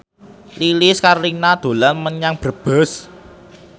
Lilis Karlina dolan menyang Brebes